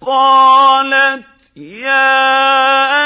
قَالَتْ يَا